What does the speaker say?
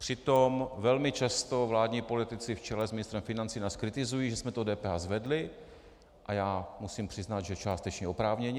Přitom velmi často vládní politici v čele s ministrem financí nás kritizují, že jsme to DPH zvedli, a já musím přiznat, že částečně oprávněně.